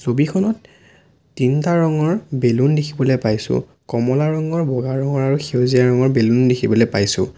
ছবিখনত তিনটা ৰঙৰ বেলুন দেখিবলে পাইছোঁ কমলা ৰঙৰ বগা ৰঙৰ আৰু সেউজীয়া ৰঙৰ বেলুন দেখিবলে পাইছোঁ।